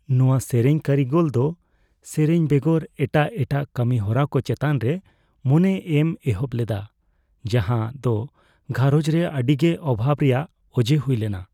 ᱱᱚᱣᱟ ᱥᱮᱨᱮᱧ ᱠᱟᱹᱨᱤᱜᱚᱞ ᱫᱚ ᱥᱮᱨᱮᱧ ᱵᱮᱜᱚᱨ ᱮᱴᱟᱜ ᱮᱴᱟᱜ ᱠᱟᱹᱢᱤ ᱦᱚᱨᱟ ᱠᱚ ᱪᱮᱛᱟᱱ ᱨᱮ ᱢᱚᱱᱮ ᱮᱢ ᱮᱦᱚᱵ ᱞᱮᱫᱟ ᱡᱟᱦᱟᱸ ᱫᱚ ᱜᱷᱟᱨᱚᱸᱡᱽ ᱨᱮ ᱟᱹᱰᱤ ᱜᱮ ᱚᱵᱷᱟᱵᱽ ᱨᱮᱭᱟᱜ ᱚᱡᱮ ᱦᱩᱭ ᱞᱮᱱᱟ ᱾